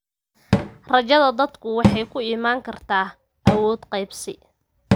Rajada dadku waxay ku iman kartaa awood qaybsi.